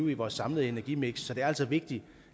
i vores samlede energimiks så det er altså vigtigt